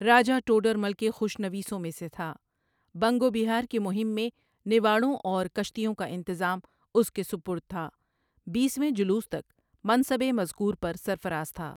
راجا ٹوڈرمل کے خوش نویس میں سے تھا بنگ و بہار کی مہم میں نواڑوں اور کشتیوں کا انتظام اس کے سپرد تھا بیس ویں جلوس تک منصب مذکور پر سرفراز تھا۔